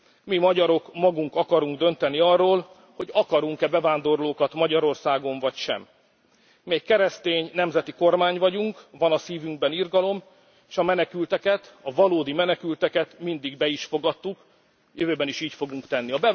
Mi, magyarok magunk akarunk dönteni arról, hogy akarunk e bevándorlókat Magyarországon vagy sem. Mi keresztény, nemzeti kormány vagyunk, van a szívünkben irgalom, és a menekülteket, a valódi menekülteket mindig be is fogadtuk, a jövőben is így fogunk tenni.